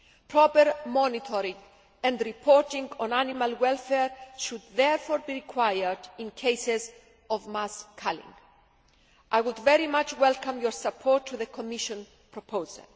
Proper monitoring and reporting on animal welfare should therefore be required in cases of mass culling. I would very much welcome your support of the Commission proposal.